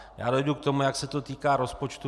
Já dojdu k tomu, jak se to týká rozpočtu.